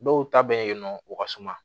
Dɔw ta bɛ yen nɔ u ka suma